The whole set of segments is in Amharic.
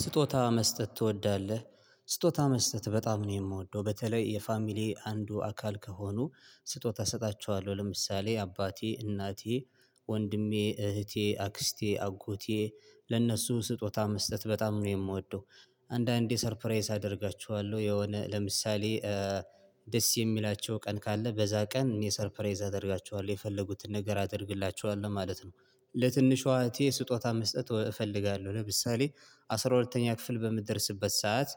ስጦታ መስጠት ትወዳለህ? ስጦታ መስጠት በጣም ነው የምወደው በተለይ የፋሚሊ አንዱ አካል ከሆኑ ስጦታ እሰጣቸዋለሁ ለምሳሌ አባቴ እናቴ ወንድሜ እህቴ አክስቴ አጎቴ ለነሱ ስጦታ መስጠት በጣም ነው የምወደው። አንዳንዴ ሰርፕራይዝ አደርጋችኋለሁ የሆነ ለምሳሌ ደስ የሚላቸው ቀን ካለ በዛ ቀን እኔ ሰርፕራይዝ አደርጋችኋለሁ የፈለጉትን ነገር አደርግላቸዋለሁ ማለት ነው። ለትንሿ እህቴ ስጦታ መስጠት እፈልጋለሁ። ለምሳሌ አስራ ሁለተኛ ክፍል በምትደርስበት ሰዓት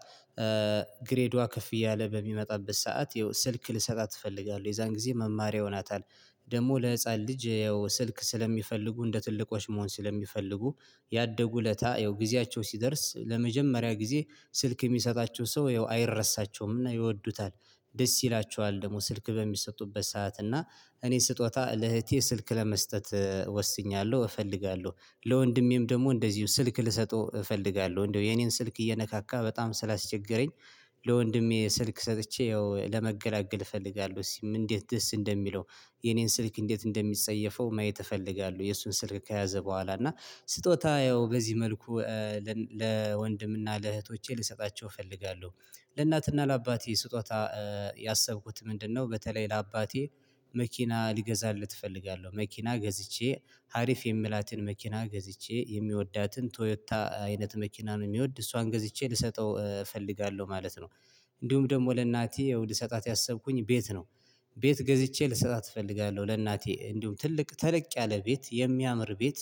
ግሬዷ ከፍ እያለ በሚመጣበት ሰዓት ይኸው ስልክ ልሰጣት እፈልጋለሁ የዛን ጊዜ መማሪያ ሆናታል። ደግሞ ለህፃን ልጅ ይኸው ስልክ ስለሚፈልጉ እንደ ትልቆሽ መሆን ስለሚፈልጉ ያደጉ እለታ ያው ጊዜያቸው ሲደርስ ለመጀመሪያ ጊዜ ስልክ የሚሰጣቸው ሰው ያው አይረሳቸውምና ይወዱታል ደስ ይላቸዋል ደግሞ ስልክ በሚሰጡበት ሰዓት እና እኔ ስጦታ ለእህቴ ስልክ ለመስጠት ወስኜዋለሁ እፈልጋለሁ ለወንድሜም ደግሞ እንደዚው ስልክ ልሰጠው እፈልጋለሁ እንደው የኔን ስልክ እየነካካ በጣም ስላስቸገረኝ ለወንድሜ ስልክ ሰጥቼ ያው ለመገላገል እፈልጋለሁ እስቲ እንዴት ደስ እንደሚለው የኔን ስልክ እንዴት እንደሚጸየፈው ማየት እፈልጋለሁ። የእሱን ስልክ ከያዘ ቦኋላ እና ስጦታ ያው በዚህ መልኩ ለወንድም እና ለእህቶቼ ልሰጣቸው እፈልጋለሁ። ለእናትና ለአባቴ ስጦታ ያሰብኩት ምንድነው በተለይ ለአባቴ መኪና ሊገዛለት እፈልጋለሁ መኪና ገዝቼ ሀሪፍ የምላትን መኪና ገዝቼ የሚወዳትን ቶዮታ አይነት መኪና ነው የሚወድ እሷን ገዝቼ ልሰጠው እፈልጋለሁ ማለት ነው። እንዲሁም ደግሞ ለእናቴ የውድ ሰጣት ያሰብኩኝ ቤት ነው። ቤት ገዝቼ ልሰጣት እፈልጋለሁ ለእናቴ እንዲሁም ትልቅ ተለቅ ያለ ቤት የሚያምር ቤት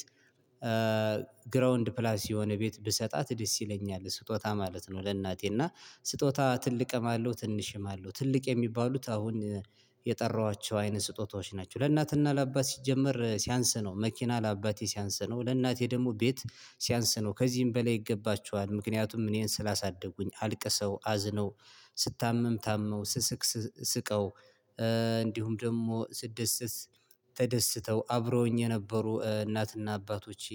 ግራውንድ ፕላስ የሆነ ቤት ብሰጣት ደስ ይለኛል። ስጦታ ማለት ነው ለእናቴ እና ስጦታ ትልቅም አለው ትንሽም አለው ትልቅ የሚባሉት አሁን የጠራኋቸው አይነት ስጦታዎች ናቸው። ለእናትና ለአባት ሲጀመር ሲያንስ ነው መኪና ለአባቴ ሲያንስ ነው ለእናቴ ደግሞ ቤት ሲያንስ ነው ከዚህም በላይ ይገባቸዋል። ምክንያቱም እኔን ስላሳደጉኝ አልቅሰው አዝነው ስታመም ታመው ስስቅ ስቀው እንዲሁም ደግሞ ስደሰስ ተደስተው አብረውኝ የነበሩ እናትና አባቶቼ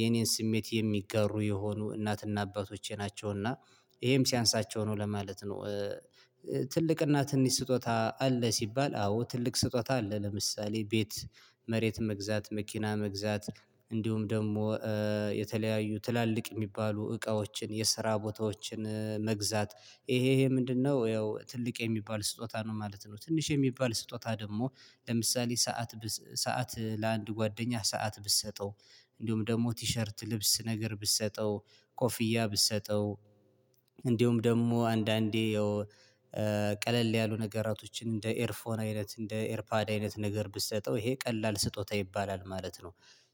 የኔን ስሜት የሚጋሩ የሆኑ እናትና አባቶቼ ናቸው። እና ይሄም ሲያንሳቸው ነው ለማለት ነው ትልቅና ትንሽ ስጦታ አለ ሲባል አዎ ትልቅ ስጦታ አለ ለምሳሌ ቤት መሬት መግዛት መኪና መግዛት እንዲሁም ደግሞ የተለያዩ ትላልቅ የሚባሉ እቃዎችን የስራ ቦታዎችን መግዛት ይሄ ይሄ ምንድነው ያው ትልቅ የሚባል ስጦታ ነው ማለት ነው። ትንሽ የሚባል ስጦታ ደግሞ ለምሳሌ ሰዓት ሰዓት ለአንድ ጓደኛህ ሰዓት ብትሰጠው እንዲሁም ደግሞ ቲሸርት ልብስ ነገር ብትሰጠው ኮፍያ ብትሰጠው እንዲሁም ደግሞ አንዳንዴ ያው ቀለል ያሉ ነገራቶችን እንደ ኤርፎን አይነት እንደ ኤርፓድ አይነት ነገር ብትሰጠው ይሄ ቀላል ስጦታ ይባላል ማለት ነው።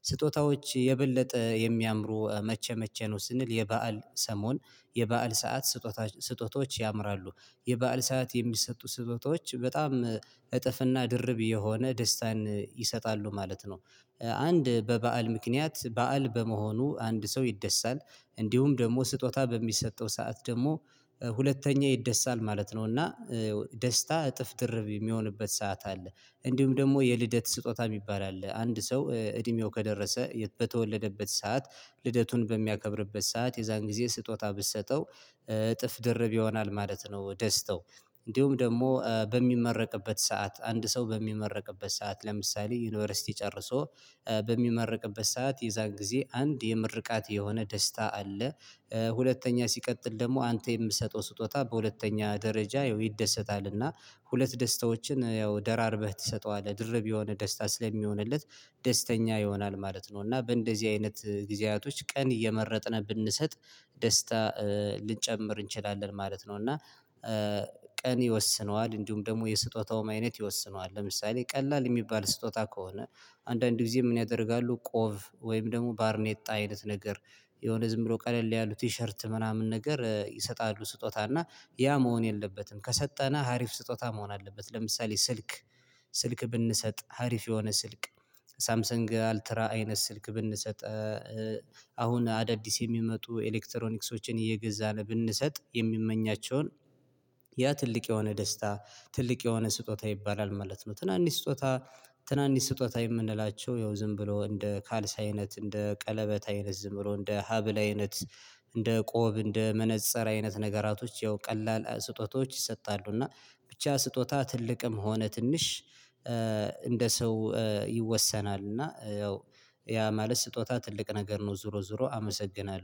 ስጦታዎች የበለጠ የሚያምሩ መቼ መቼ ነው ስንል የበአል ሰሞን የበአል ሰዓት ስጦታ ስጦታዎች ያምራሉ የበአል ሰዓት የሚሰጡ ስጦታዎች በጣም እጥፍና ድርብ የሆነ ደስታን ይሰጣሉ ማለት ነው። አንድ በበዓል ምክንያት በዓል በመሆኑ አንድ ሰው ይደሳል እንዲሁም ደግሞ ስጦታ በሚሰጠው ሰዓት ደግሞ ሁለተኛ ይደሳል ማለት ነው እና ደስታ እጥፍ ድርብ የሚሆንበት ሰዓት አለ እንዲሁም ደግሞ የልደት ስጦታ የሚባል አለ አንድ ሰው እድሜው ከደረሰ በተወለደበት ሰዓት ልደቱን በሚያከብርበት ሰዓት የዛን ጊዜ ስጦታ ብትሰጠው እጥፍ ድርብ ይሆናል ማለት ነው። ደስታው እንዲሁም ደግሞ በሚመረቅበት ሰዓት አንድ ሰው በሚመረቅበት ሰዓት ለምሳሌ ዩኒቨርሲቲ ጨርሶ በሚመረቅበት ሰዓት ጊዜ አንድ የምርቃት የሆነ ደስታ አለ። ሁለተኛ ሲቀጥል ደግሞ አንተ የምትሰጠው ስጦታ በሁለተኛ ደረጃ ይደሰታልና ሁለት ደስታዎችን ያው ደራርበህ ትሰጠዋለህ። ድርብ የሆነ ደስታ ስለሚሆንለት ደስተኛ ይሆናል ማለት ነው። እና በእንደዚህ አይነት ጊዜያቶች ቀን እየመረጥን ብንሰጥ ደስታ ልንጨምር እንችላለን ማለት ነው እና ቀን ይወስነዋል እንዲሁም ደግሞ የስጦታውም አይነት ይወስነዋል። ለምሳሌ ቀላል የሚባል ስጦታ ከሆነ አንዳንድ ጊዜ ምን ያደርጋሉ ቆብ ወይም ደግሞ ባርኔጣ አይነት ነገር የሆነ ዝም ብሎ ቀለል ያሉ ቲሸርት ምናምን ነገር ይሰጣሉ ስጦታ እና ያ መሆን የለበትም ከሰጠነ ሀሪፍ ስጦታ መሆን አለበት ለምሳሌ ስልክ ስልክ ብንሰጥ ሀሪፍ የሆነ ስልክ ሳምሰንግ አልትራ አይነት ስልክ ብንሰጥ አሁን አዳዲስ የሚመጡ ኤሌክትሮኒክሶችን እየገዛን ብንሰጥ የሚመኛቸውን ያ ትልቅ የሆነ ደስታ ትልቅ የሆነ ስጦታ ይባላል ማለት ነው ትናንሽ ስጦታ ትናንሽ ስጦታ የምንላቸው ያው ዝም ብሎ እንደ ካልሲ አይነት እንደ ቀለበት አይነት ዝም ብሎ እንደ ሀብል አይነት እንደ ቆብ እንደ መነፀር አይነት ነገራቶች ያው ቀላል ስጦታዎች ይሰጣሉ። እና ብቻ ስጦታ ትልቅም ሆነ ትንሽ እንደ ሰው ይወሰናል እና ያው ማለት ስጦታ ትልቅ ነገር ነው ዙሮ ዙሮ አመሰግናለሁ።